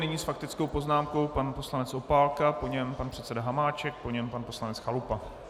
Nyní s faktickou poznámkou pan poslanec Opálka, po něm pan předseda Hamáček, po něm pan poslanec Chalupa.